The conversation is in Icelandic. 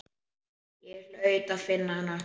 Ég hlaut að finna hana.